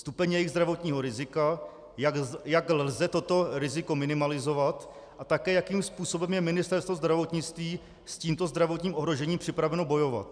Stupeň jejich zdravotního rizika, jak lze toto riziko minimalizovat a také jakým způsobem je Ministerstvo zdravotnictví s tímto zdravotním ohrožením připraveno bojovat.